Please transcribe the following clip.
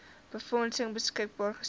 befondsing beskikbaar gestel